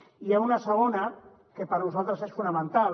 i n’hi ha una segona que per nosaltres és fonamental